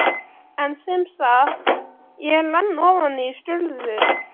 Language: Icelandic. En semsagt: ég er enn ofan í skurðum.